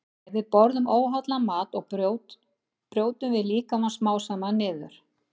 Ef við borðum óhollan mat brjótum við líkamann smám saman niður.